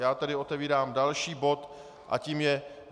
Já tedy otevírám další bod a tím je